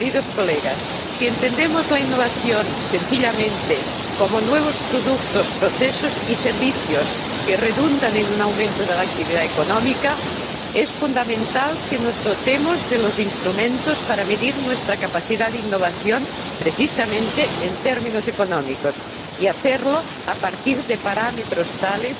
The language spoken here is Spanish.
Señorías, si entendemos la innovación sencillamente como nuevos productos, procesos y servicios que redundan en un aumento de la actividad económica, es fundamental que nos dotemos de los instrumentos para medir nuestra capacidad de innovación precisamente en términos económicos, y que lo hagamos a partir de parámetros tales